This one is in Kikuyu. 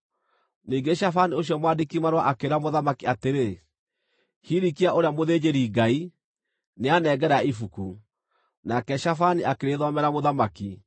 Ningĩ Shafani ũcio mwandĩki-marũa akĩĩra mũthamaki atĩrĩ, “Hilikia ũrĩa mũthĩnjĩri-Ngai, nĩanengera ibuku.” Nake Shafani akĩrĩthomera mũthamaki.